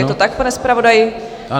Je to tak, pane zpravodaji?